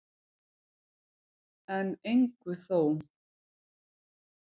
En engu þó.